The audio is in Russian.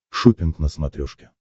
шоппинг на смотрешке